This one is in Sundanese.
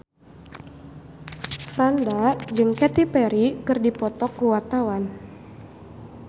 Franda jeung Katy Perry keur dipoto ku wartawan